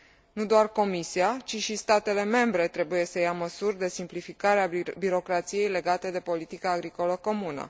Nu doar Comisia, ci și statele membre trebuie să ia măsuri de simplificare a birocrației legate de politică agricolă comună.